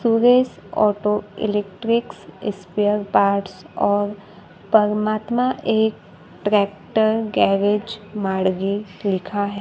Suresh auto electric spare parts और परमात्मा एक ट्रैक्टर गैरेज माड़गी लिखा है।